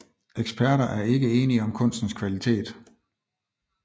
Eksperter er ikke enige om kunstens kvalitet